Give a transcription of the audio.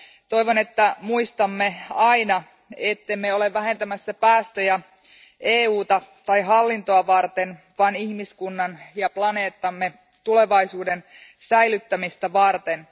Toivon, että muistamme aina, ettemme ole vähentämässä päästöjä EUta tai hallintoa varten, vaan ihmiskunnan ja planeettamme tulevaisuuden säilyttämistä varten.